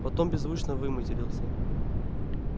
потом беззвучно выматерился